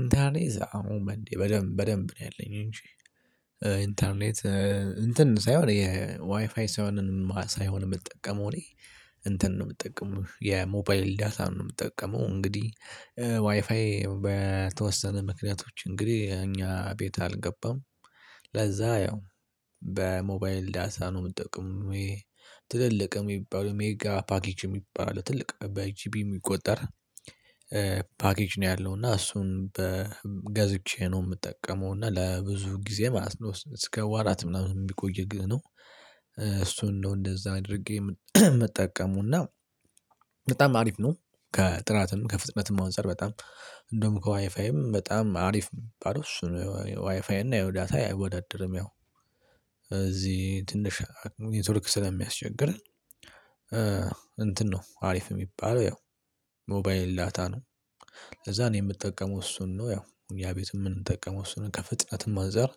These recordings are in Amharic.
ኢንተርኔት አሁን በደንብ በደንብ ነው ያለኝ እንጂ። ኢንተርኔት እንትን ሳይሆን የዋይፋይ ሳይሆን ሳይሆን የምጠቀመው እኔ እንትን ነው የምጠቀመው የሞባይል ዳታ ነው የምጠቀመው። እንግዲህ ዋይፋይ በተወሰነ ምክንያቶች እንግዲህ እኛ ቤት አልገባም ለዛ ያው በሞባይል ዳታ ነው የምጠቅመው። ይሄ ትልልቅ የሚባለው ሜጋ ፓኬጅ የሚባሉ ትልቅ በጂቢ የሚቆጠር ፓኬጅ ነው ያለው እና እሱን በገዝቼ ነው የምጠቀመው እና ለብዙ ጊዜ ማለት ነው እስከ ወራት ምናምን የሚቆይ ግን ነው። እሱን እንደው እንደዛ አድርጌ ምጠቀመዉና በጣም አሪፍ ነው። ከጥራትም ከፍጥነትም አንፃር በጣም እንደውም ከዋይፋይም በጣም አሪፍ የሚባለው እሱ ነው ዋይፋይ እና ያው ዳታ አይወዳድርም። ያው እዚህ ትንሽ ኔትርክ ስለሚያስቸግርህ እንትን ነው አሪፍ የሚባለው ያው ሞባይል ዳታ ነው። ለዛ ነው የምጠቀመው እሱን ነው ያው ያ እኛ ቤትም የምጠቀመው እሱን ከፍጥነት አንፃር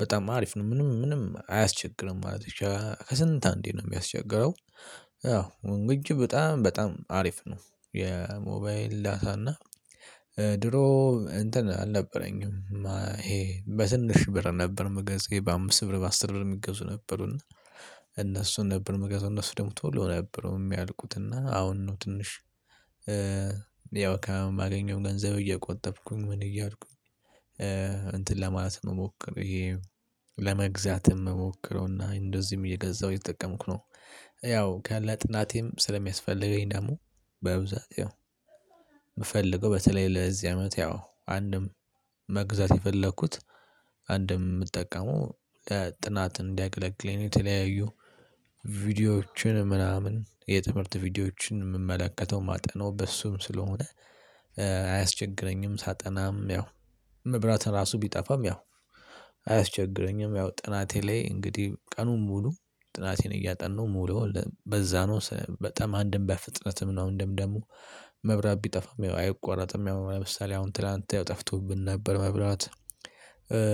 በጣም አሪፍ ነው ምንም ምንም አያስቸግርም ማለት ነው። ከስንት አንዴ ነው የሚያስቸግረው አዎ እንጅ በጣም በጣም አሪፍ ነው። የሞባይል ዳታ እና ድሮ እንትን አልነበረኝም። ይሄ በትንሽ ብር ነበር የምገዛ በአምስት ብር በአስር ብር የሚገዙ ነበሩና። እነሱን ነበር እመገዛው እነሱ ደግሞ ቶሎ ነበረው የሚያልቁትና አሁን ነው ትንሽ ያው ከማገኘውም ገንዘብ እየቆጠብኩኝ ምን እያልኩኝ እንትን ለማለት እምሞክር ይሄ ለመግዛት እሞክረውና እንደዚህም እየገዛሁ እየጠቀምኩ ነው። ያው ከለ ጥናቴም ስለሚያስፈልገኝ ደግሞ በብዛት የምፈልገው በተለይ ለዚህ አመት ያው አንድም መግዛት የፈለኩት አንድም የምጠቀመው ለጥናት እንዲያገለግልኝ የተለያዩ ቪዲዮዎችን ምናምን የትምህርት ቪዲዮዎችን የምመለከተው የማጠናው በሱም ስለሆነ አያስቸግረኝም። ሳጠናም ያው መብራት ራሱ ቢጠፋም ያው አያስቸግረኝም። ያው ጥናቴ ላይ እንግዲህ ቀኑን ሙሉ ጥናቴን እያጣነው ምዉለው በዛ ነው በጣም አንድም በፍጥነትም ነው እንዲሁም ደግሞ መብራት ቢጠፋም አይቆረጥም። ያው ለምሳሌ አሁን ትላንት ጠፍቶብን ነበር መብራት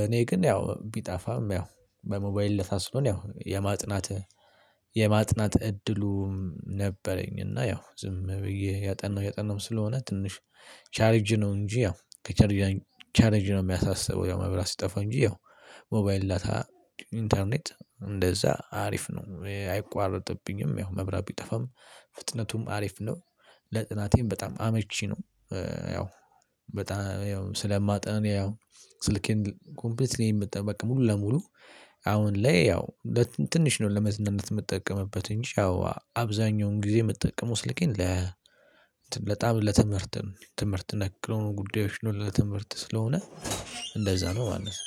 እኔ ግን ያው ቢጠፋም ያው በሞባይል ዳታ ስለሆነ ያው የማጥናት የማጥናት እድሉም ነበረኝ። እና ያው ዝም ብዬ እያጠናሁ እያጠናሁ ስለሆነ ትንሽ ቻርጅ ነው እንጂ ያው ቻርጅ ነው የሚያሳስበው ያው መብራት ሲጠፋ እንጂ ያው ሞባይል ዳታ ኢንተርኔት እንደዛ አሪፍ ነው። እኔ አይቋረጥብኝም ያው መብራት ቢጠፋም ፍጥነቱም አሪፍ ነው ለጥናቴም በጣም አመቺ ነው። ያው በጣም ያው ስለማጠን ያው ስልኬን ኮምፕሊትሊ የምትጠቀመው ሙሉ ለሙሉ አሁን ላይ ያው ትንሽ ነው ለመዝናነት የምትጠቀመበት እንጂ ያው አብዛኛውን ጊዜ እመጠቀመው ስልኬን ለ በጣም ለትምህርት ትምህርት ነክ ለሆኑ ጉዳዮች ነው። ለትምህርት ስለሆነ ለዛ ነው ማለት።